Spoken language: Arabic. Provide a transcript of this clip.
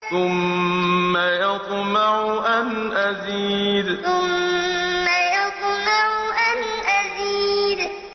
ثُمَّ يَطْمَعُ أَنْ أَزِيدَ ثُمَّ يَطْمَعُ أَنْ أَزِيدَ